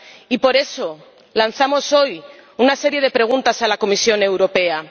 Y, por eso, lanzamos hoy una serie de preguntas a la Comisión Europea.